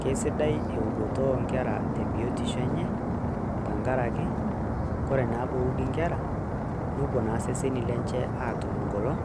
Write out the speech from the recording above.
keisidai eudoto oo nkera te biotisho enye, amu ore naa pee euudi nkera, nepuo naa iseseni lenche aatum egolon